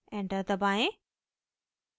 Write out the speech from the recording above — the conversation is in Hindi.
enter दबाएं